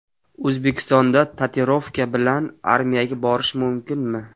O‘zbekistonda tatuirovka bilan armiyaga borish mumkinmi?.